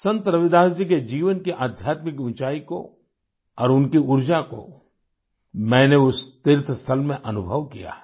संत रविदास जी के जीवन की आध्यात्मिक ऊंचाई को और उनकी ऊर्जा को मैंने उस तीर्थ स्थल में अनुभव किया है